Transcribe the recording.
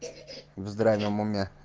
в здравом уме